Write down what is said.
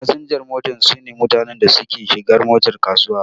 Fasinjan mota su ne mutanen da suke shiga motar kasuwa.